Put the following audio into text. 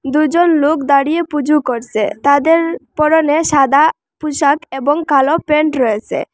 দুজন লোক দাঁড়িয়ে পুজো করসে তাদের পরনে সাদা পোশাক এবং কালো প্যান্ট রয়েসে।